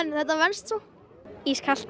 þetta venst svo ískalt